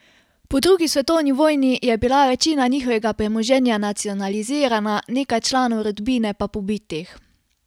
Po drugi svetovni vojni je bila večina njihovega premoženja nacionalizirana, nekaj članov rodbine pa pobitih.